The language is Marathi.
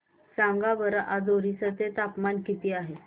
सांगा बरं आज ओरिसा चे तापमान किती आहे